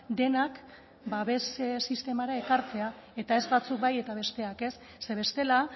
denak babes sistemara ekartzea eta ez batzuk bai eta besteak ez ze bestela